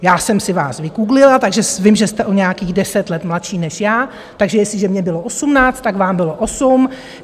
Já jsem si vás vygooglila, takže vím, že jste o nějakých deset let mladší než já, takže jestliže mně bylo osmnáct, tak vám bylo osm.